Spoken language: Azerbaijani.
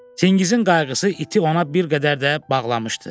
Çingizin qayğısı iti ona bir qədər də bağlamışdı.